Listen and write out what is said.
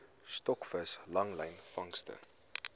stokvis langlyn vangste